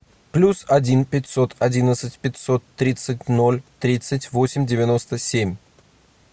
плюс один пятьсот одиннадцать пятьсот тридцать ноль тридцать восемь девяносто семь